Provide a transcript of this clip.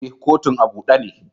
Eh, kotun a bude ne.